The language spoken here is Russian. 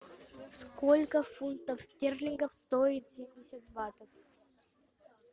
сколько фунтов стерлингов стоит семьдесят батов